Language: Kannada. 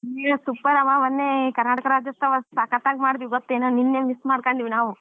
ಹೇ super ಮ್ಮ ಮೊನ್ನೆ ಕರ್ನಾಟಕ ರಾಜ್ಯೋತ್ಸವ ಸಕತ್ ಆಗಿ ಮಾಡ್ದ್ವಿ ಗೊತ್ತಾ ನಿನ್ನ miss ಮಾಡ್ಕೊಂಡ್ವಿ ನಾವು.